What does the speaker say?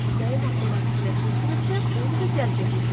Nəyin haqqında fikirləşmisinizsə, onu da cəzb etmisiniz.